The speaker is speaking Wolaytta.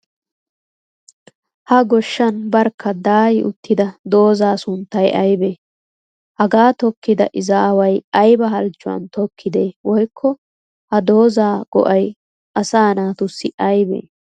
Ha goshshan barkka daayi uttida doozzaa sunttay ayibee? Hagaa tokkiday izaaway ayiba halchchuwan tokkidee woyikko ha dozzaa go'ay assaa naatussi ayibee?